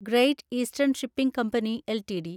great eastern shipping company LTD